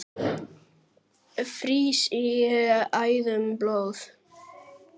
frýs í æðum blóð